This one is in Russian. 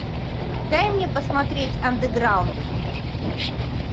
дай мне посмотреть андеграунд